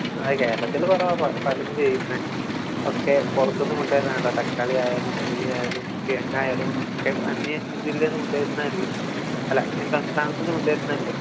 ആ കേരളത്തില് കുറവാ പലരും ചെയ്യുന്നെ ഒക്കെ പുറത്തുന്നു കൊണ്ടുവര ലാണല്ലോ തക്കാളി ആയാലും ഉള്ളി ആയാലും കിഴങ്ങായാലും ഒക്കെ അന്യ ജില്ലേന്ന് കൊണ്ടുവരുന്നതല്ലേ അല്ല അന്യ സംസ്ഥാനത്ത് നിന്നും കൊണ്ട് വരുന്നതല്ലേ